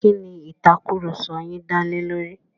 Kí ni ìtàkurọ̀sọ yin dá lé lórí?